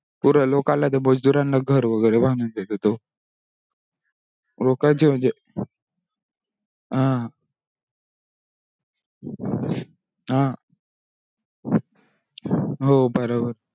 पुरा लोकाला मजदूरानना घर वगेरे बांधून देतो तो लोकांचे म्हणजे हा हा हो बराबर